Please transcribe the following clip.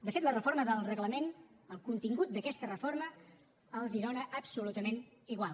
de fet la reforma del reglament el contingut d’aquesta reforma els dona absolutament igual